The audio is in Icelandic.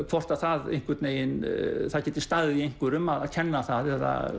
hvort að það einhvern veginn geti staðið í einhverjum að kenna það eða